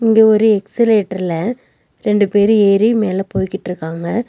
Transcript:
இங்க ஒரு எக்ஸிலேட்டர்ல ரெண்டு பேரு ஏறி மேல போய்க்கிட்ருக்காங்க.